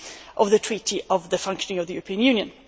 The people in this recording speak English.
of the Treaty on the Functioning of the European Union.